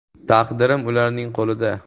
Taqdirim ularning qo‘lida.